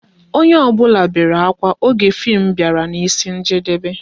Onye ọ bụla bere ákwà oge fim bịara n'isi njedebe